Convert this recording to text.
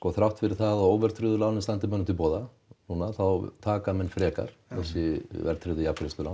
þrátt fyrir það að óverðtryggðu lánin standi manni til boða núna þá taka menn frekar þessi verðtryggðu jafngreiðslulán